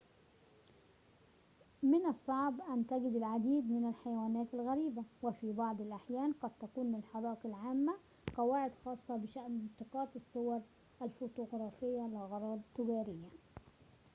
من الصعب أن نجد العديد من الحيوانات الغريبة وفي بعض الأحيان قد تكون للحدائق العامة قواعد خاصة بشأن التقاط الصور الفوتوغرافية لأغراض تجارية